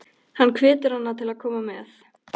Hann hvetur hana til að koma með.